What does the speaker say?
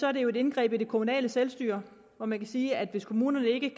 er det jo et indgreb i det kommunale selvstyre og man kan sige at hvis kommunerne ikke